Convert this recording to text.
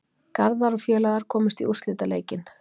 Garðar og félagar komust í úrslitaleikinn